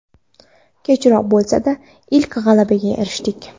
Kechroq bo‘lsa-da, ilk g‘alabaga erishdik.